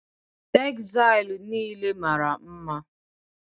Tegzail nile mara mma